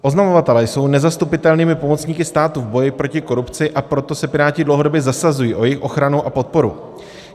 Oznamovatelé jsou nezastupitelnými pomocníky státu v boji proti korupci, a proto se Piráti dlouhodobě zasazují o jejich ochranu a podporu.